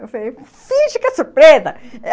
Eu falei, finge que é surpresa.